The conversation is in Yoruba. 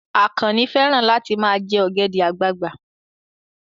Àkànnì fẹ́ràn láti ma jẹ́ ọ̀gẹ̀dẹ̀ àgbagbà